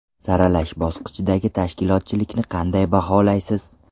Saralash bosqichidagi tashkilotchilikni qanday baholaysiz.